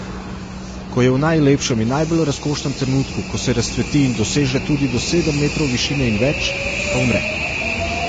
Ko je v najlepšem in najbolj razkošnem trenutku, ko se razcveti in doseže tudi do sedem metrov višine in več, pa umre.